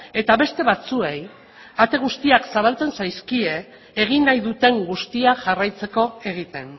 eta beste batzuei ate guztiak zabaltzen zaizkie egin nahi duten guztia jarraitzeko egiten